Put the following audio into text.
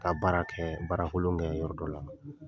Ka baara kɛ, baarakolo kɛ yɔrɔ dɔ la.